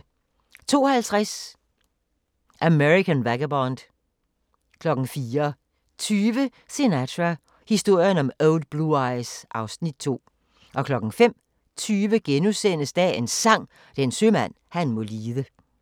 02:50: American vagabond 04:20: Sinatra – historien om Old Blue Eyes (Afs. 2) 05:20: Dagens Sang: Den sømand han må lide *